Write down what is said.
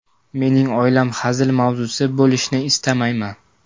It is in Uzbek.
Mening oilam hazil mavzusi bo‘lishini istamayman.